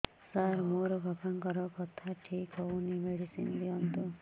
ସାର ମୋର ବାପାଙ୍କର କଥା ଠିକ ହଉନି ମେଡିସିନ ଦିଅନ୍ତୁ